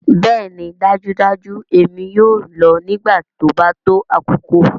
Bẹẹni dajudaju èmi yoo lọ nigbati o ba to akoko.